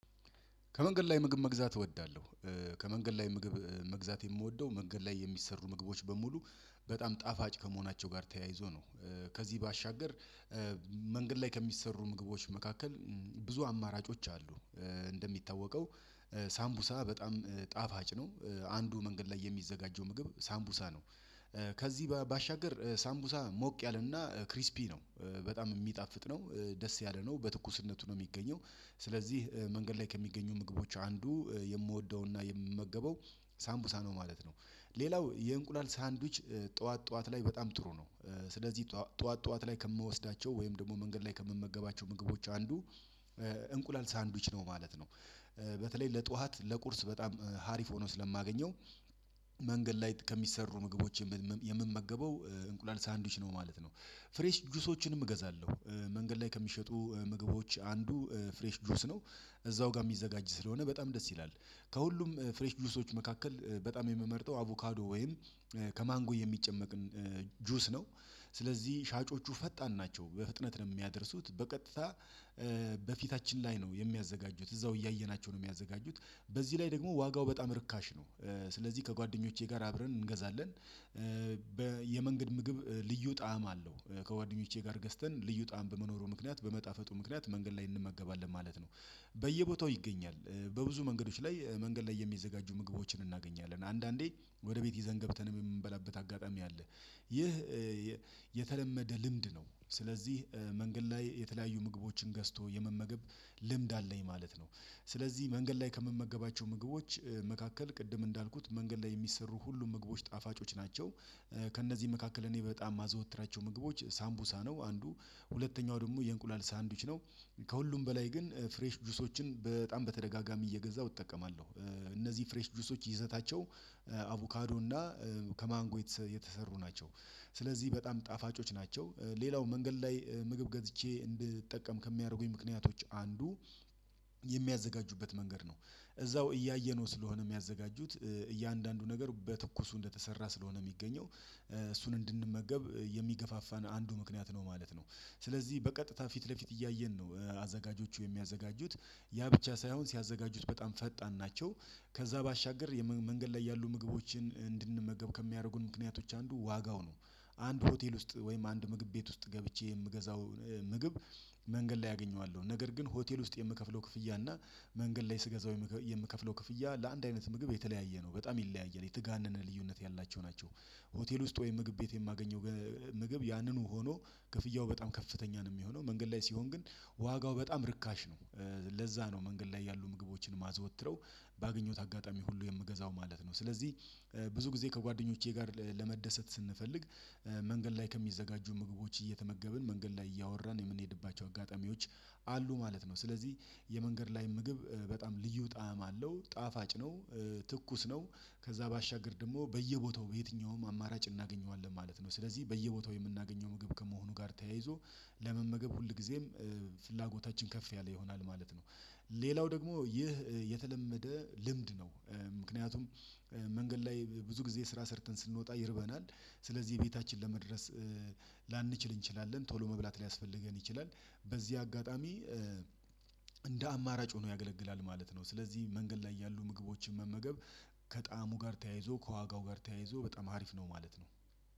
ከመንገድ ላይ ምግብ መግዛት እወዳለሁ። ከመንገድ ላይ ምግብ መግዛት የምወደው መንገድ ላይ የሚሰሩ ምግቦች በሙሉ በጣም ጣፋጭ ከመሆናቸው ጋር ተያይዞ ነው። ከዚህ ባሻገር። መንገድ ላይ ከሚሰሩ ምግቦች መካከል ብዙ አማራጮች አሉ። እንደሚታወቀው ሳምቡሳ በጣም ጣፋጭ ነው። አንዱ መንገድ ላይ የሚዘጋጀው ምግብ ሳምቡሳ ነው። ከዚህ ባሻገር ሳምቡሳ ሞቅ ያለና ክሪስፒ ነው በጣም የሚጣፍጥ ነው። ደስ ያለ ነው በትኩስነቱ ነው የሚገኘው ስለዚህ መንገድ ላይ ከሚገኙ ምግቦች አንዱ የምወደውና የምመገበው ሳምቡሳ ነው ማለት ነው። ሌላው የእንቁላል ሳንድዊች ጠዋት ላይ በጣም ጥሩ ነው። ስለዚህ ጠዋት ጠዋት ላይ ከምወስዳቸው ወይም ደግሞ መንገድ ላይ ከምመገባቸው ምግቦች አንዱ እንቁላል ሳንድዊች ነው ማለት ነው። በተለይ ለጧት ለቁርስ በጣም ሀሪፍ ሆኖ ስለማገኘው። መንገድ ላይ ከሚሰሩ ምግቦች የምመገበው እንቁላል ሳንድዊች ነው ማለት ነው። ፍሬሽ ጁሶችንም እገዛለሁ። መንገድ ላይ ከሚሸጡ ምግቦች አንዱ ፍሬሽ ጁስ ነው። እዛው ጋር የሚዘጋጅ ስለሆነ በጣም ደስ ይላል። ከሁሉም ፍሬሽ ጁሶች መካከል በጣም የምመርጠው አቮካዶ ወይም ከማንጎ የሚጨመቅን ጁስ ነው። ስለዚህ ሻጮቹ ፈጣን ናቸው በፍጥነት ነው የሚያደርሱት በቀጥታ። በፊታችን ላይ ነው የሚያዘጋጁት እዛው እያየናቸው ነው የሚያዘጋጁት። በዚህ ላይ ደግሞ ዋጋው በጣም ርካሽ ነው። ስለዚህ ከጓደኞቼ ጋር አብረን እንገዛለን። የመንገድ ምግብ ልዩ ጣዕም አለው ከጓደኞቼ ጋር ገዝተን ልዩ ጣዕም በመኖሩ ምክንያት በመጣፈጡ ምክንያት መንገድ ላይ እንመገባለን ማለት ነው። በየቦታው ይገኛል በብዙ መንገዶች ላይ መንገድ ላይ የሚዘጋጁ ምግቦችን እናገኛለን አንዳንዴ ወደ ቤት ይዘን ገብተን የምንበላበት አጋጣሚ አለ። ይህ የተለመደ ልምድ ነው። ስለዚህ መንገድ ላይ የተለያዩ ምግቦችን ገዝቶ የመመገብ ልምድ አለኝ ማለት ነው። ስለዚህ መንገድ ላይ ከምመገባቸው ምግቦች መካከል ቅድም እንዳልኩት መንገድ ላይ የሚሰሩ ሁሉ ምግቦች ጣፋጮች ናቸው። ከእነዚህ መካከል እኔ በጣም የማዘወትራቸው ምግቦች ሳምቡሳ ነው አንዱ ሁለተኛው ደግሞ የእንቁላል ሳንድዊች ነው። ከሁሉም በላይ ግን ፍሬሽ ጁሶችን በጣም በተደጋጋሚ እየገዛሁ እጠቀማለሁ። እነዚህ ፍሬሽ ጁሶች ይዘታቸው አቮካዶ እና ከማንጎ የተሰሩ ናቸው። ስለዚህ በጣም ጣፋጮች ናቸው። ሌላው መንገድ ላይ ምግብ ገዝቼ እንድጠቀም ከሚያደርጉኝ ምክንያቶች አንዱ የሚያዘጋጁበት መንገድ ነው። እዛው እያየነው ስለሆነ የሚያዘጋጁት እያንዳንዱ ነገር በትኩሱ እንደተሰራ ስለሆነ የሚገኘው እሱን እንድንመገብ የሚገፋፋን አንዱ ምክንያት ነው ማለት ነው። ስለዚህ በቀጥታ ፊት ለፊት እያየን ነው አዘጋጆቹ የሚያዘጋጁት ያ ብቻ ሳይሆን ሲያዘጋጁት በጣም ፈጣን ናቸው። ከዛ ባሻገር መንገድ ላይ ያሉ ምግቦችን እንድንመገብ ከሚያደርጉን ምክንያቶች አንዱ ዋጋው ነው። አንድ ሆቴል ውስጥ ወይም አንድ ምግብ ቤት ውስጥ ገብቼ የምገዛው ምግብ መንገድ ላይ አገኘዋለሁ ነገር ግን ሆቴል ውስጥ የምከፍለው ክፍያ እና መንገድ ላይ ስገዛው የምከፍለው ክፍያ ለአንድ አይነት ምግብ የተለያየ ነው በጣም ይለያያል የተጋነነ ልዩነት ያላቸው ናቸው። ሆቴል ውስጥ ወይም ምግብ ቤት የማገኘው ምግብ ያንኑ ሆኖ ክፍያው በጣም ከፍተኛ ነው የሚሆነው መንገድ ላይ ሲሆን ግን ዋጋው በጣም ርካሽ ነው። ለዛ ነው መንገድ ላይ ያሉ ምግቦችን ማዘወትረው ባገኘሁት አጋጣሚ ሁሉ የምገዛው ማለት ነው ስለዚህ። ብዙ ጊዜ ከጓደኞቼ ጋር ለመደሰት ስንፈልግ መንገድ ላይ ከሚዘጋጁ ምግቦች እየተመገብን መንገድ ላይ እያወራን የምንሄድባቸው አጋጣሚዎች አሉ ማለት ነው። ስለዚህ የመንገድ ላይ ምግብ በጣም ልዩ ጣዕም አለው ጣፋጭ ነው። ትኩስ ነው። ከዛ ባሻገር ደግሞ በየቦታው በየትኛውም አማራጭ እናገኘዋለን ማለት ነው። ስለዚህ በየቦታው የምናገኘው ምግብ ከመሆኑ ጋር ተያይዞ ለመመገብ ሁልጊዜም ፍላጎታችን ከፍ ያለ ይሆናል ማለት ነው። ሌላው ደግሞ ይህ የተለመደ ልምድ ነው። ምክንያቱም መንገድ ላይ ብዙ ጊዜ ስራ ሰርተን ስንወጣ ይርበናል። ስለዚህ ቤታችን ለመድረስ ላንችል እንችላለን ቶሎ መብላት ላያስፈልገን ይችላል። በዚህ አጋጣሚ እንደ አማራጭ ሆኖ ያገለግላል ማለት ነው። ስለዚህ መንገድ ላይ ያሉ ምግቦችን መመገብ ከጣዕሙ ጋር ተያይዞ ከዋጋው ጋር ተያይዞ በጣም አሪፍ ነው ማለት ነው።